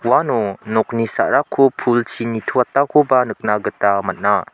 uano nokni sa·rako pulchi nitoatakoba nikna gita man·a.